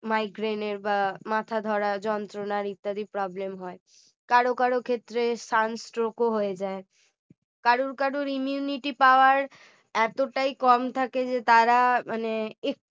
migraine এর বা মাথা ধরা যন্ত্রণা ইত্যাদি problem হয় কারো কারো ক্ষেত্রে sunstroke ও হয়ে যায় কারুর কারুর immunity power এতটাই কম থাকে যে তারা মানে